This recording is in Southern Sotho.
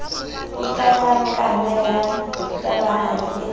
e kanakana ya tabahadi e